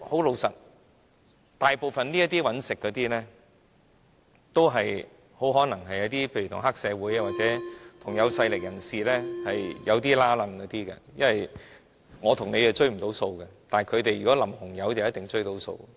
老實說，大部分這些經營者可能跟黑社會或有勢力人士有關係，因為我和你追不到數，但他們淋紅油的話就一定追到數。